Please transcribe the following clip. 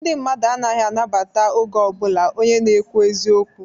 Ndị mmadu anaghị anabata oge ọbụlạ onye na-ekwu eziokwu.